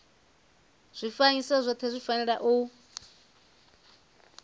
zwifanyiso zwothe zwi fanela u